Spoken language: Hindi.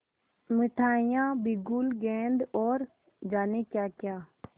मिठाइयाँ बिगुल गेंद और जाने क्याक्या